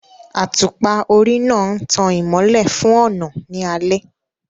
Àtùpà orí náà ń tan ìmọ́lẹ̀ fún ọ̀nà ní alẹ́